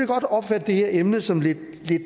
godt opfatte det her emne som lidt